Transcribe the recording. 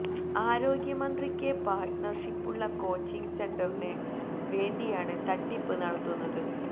ആരോഗ്യമന്ത്രിക്ക് പാര്ട്ണര് ഷിപ്പുള്ള കോച്ചിംഗ് സെന്ററിന് വേണ്ടിയാണ് തട്ടിപ്പ് നടത്തുന്നത്